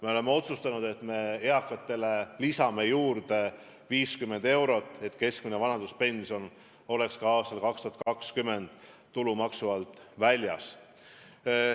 Me oleme otsustanud, et lisame eakatele juurde 50 eurot, nii et keskmine vanaduspension oleks ka aastal 2020 tulumaksu alt väljas.